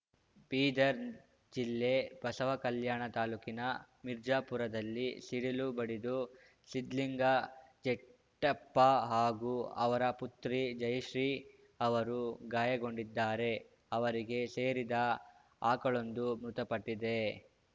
ಬೀದರ್‌ ಜಿಲ್ಲೆ ಬಸವಕಲ್ಯಾಣ ತಾಲೂಕಿನ ಮಿರ್ಜಾಪುರದಲ್ಲಿ ಸಿಡಿಲು ಬಡಿದು ಸಿದ್ಲಿಂಗ ಜೆಟ್ಟೆಪ್ಪ ಹಾಗೂ ಅವರ ಪುತ್ರಿ ಜಯಶ್ರೀ ಅವರು ಗಾಯಗೊಂಡಿದ್ದಾರೆ ಅವರಿಗೆ ಸೇರಿದ ಆಕಳೊಂದು ಮೃತಪಟ್ಟಿದೆ